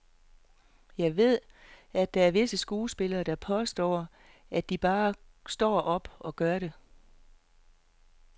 Jeg ved, at der er visse skuespillere, der påstår, at de bare står op og gør det.